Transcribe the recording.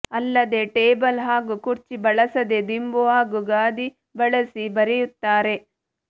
ಅಲ್ಲದೇ ಟೇಬಲ್ ಹಾಗೂ ಕುರ್ಚಿ ಬಳಸದೆ ದಿಂಬು ಹಾಗೂ ಗಾದಿ ಬಳಸಿ ಬರೆಯುತ್ತಾರೆ